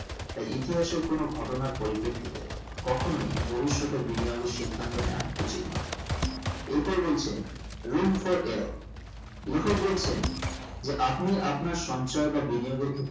তাই ইতিহাসের কোনো ঘটনার পরিপেক্ষিতে কখনোই ভবিষ্যতের বিনিয়োগের সিদ্ধান্ত নিও উচিত নোই এর পর বলছেন room for errror লেখক বলছেন যে আপনি আপনার সঞ্চয় বা বিনিয়োগের ক্ষেত্রে